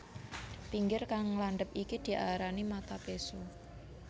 Pinggir kang landhep iki diarani mata péso